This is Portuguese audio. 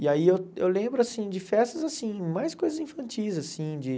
E aí eu eu lembro, assim, de festas, assim, mais coisas infantis, assim de